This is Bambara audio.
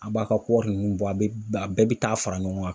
An b'a ka kɔɔri nunnu bɔ, a bɛɛ be taa fara ɲɔgɔn kan.